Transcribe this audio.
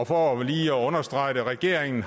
for lige at understrege det regeringen